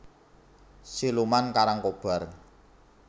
Siluman Karangkobar